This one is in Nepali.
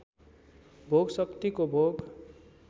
भोक शक्तिको भोक